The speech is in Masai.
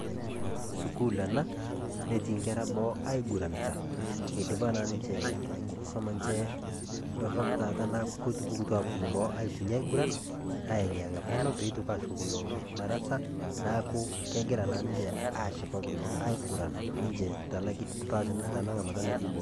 Sukuul ena, netii inkera boo aiguranta, eidipa na ninche enkusuma nche dorrop taata, naa kotupukutuo aponu boo nye aiguran, aing'iyeng'a Peno petoki ashukokino darasa, naaku kegira na ninche ashipakino aiguran ninche tana, tanang'amata natii boo.